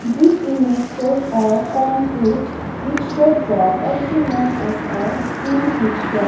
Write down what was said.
this image shows a concrete mixture truck also known as a cement mixture.